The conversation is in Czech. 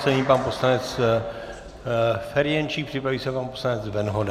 Nyní pan poslanec Ferjenčík, připraví se pan poslanec Venhoda.